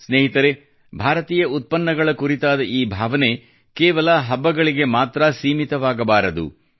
ಸ್ನೇಹಿತರೇ ಭಾರತೀಯ ಉತ್ಪನ್ನಗಳ ಕುರಿತಾದ ಈ ಭಾವನೆ ಕೇವಲ ಹಬ್ಬಗಳಿಗೆ ಮಾತ್ರ ಸೀಮಿತವಾಗಬಾರದು